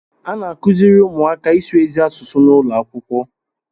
A na-akụziri ụmụaka ịsụ ezi asụsụ n'ụlọ akwụkwọ